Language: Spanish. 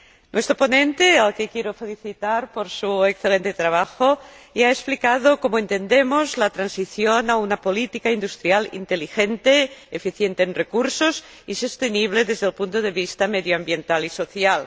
Nuestro ponente, al que quiero felicitar por su excelente trabajo, ya ha explicado cómo entendemos la transición a una política industrial inteligente, eficiente en recursos y sostenible desde el punto de vista medioambiental y social.